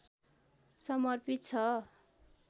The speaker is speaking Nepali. समर्पित छ